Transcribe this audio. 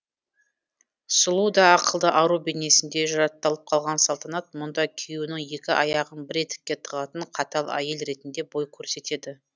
сұлу да ақылды ару бейнесінде жатталып қалған салтанат мұнда күйеуінің екі аяғын бір етікке тығатын қатал әйел ретінде бой көрсетеді